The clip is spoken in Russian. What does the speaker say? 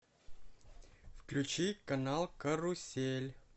включи канал карусель